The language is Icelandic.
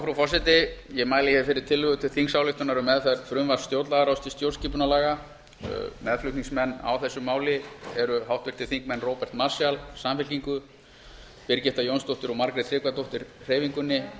frú forseti ég mæli hér fyrir tillögu til þingsályktunar um meðferð frumvarps stjórnlagaráðs til stjórnarskipunarlaga meðflutningsmenn á þessu máli eru háttvirtir þingmenn róbert marshallsamfylkingu birgitta jónsdóttir og margrét tryggvadóttir hreyfingunni